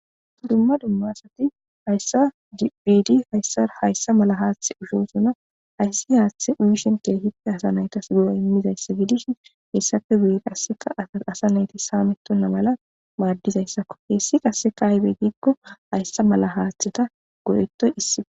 dumma dumma asati hayssa gibidi hayssa hayssa mala haaththe ushosona hayssi haaththe uyishen keehipte asa naytas du7o immizayssa gidishin hessappe wuye qasseka aaasa nayti saamettonna mala maaddizayssakko heessi qasseka aybey giikko hayssa mala haaththeta go7ettoy issi